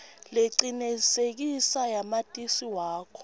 lecinisekisiwe yamatisi wakho